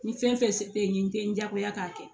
Ni fɛn fɛn bɛ yen n tɛ n diyagoya k'a kɛ